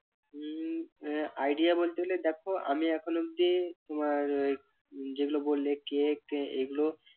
উম idea বলতে গেলে দেখো আমি এখন অব্দি তোমার উহ যেগুলো বললে cake টেক এগুলো